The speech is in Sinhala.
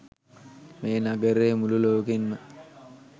මේ නගරය මුලු ලෝකෙන්ම